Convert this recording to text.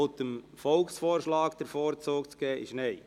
«dem Volksvorschlag den Vorzug zu geben», ist Nein.